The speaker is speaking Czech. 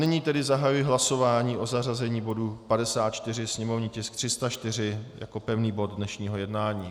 Nyní tedy zahajuji hlasování o zařazení bodu 54, sněmovní tisk 304 jako pevný bod dnešního jednání.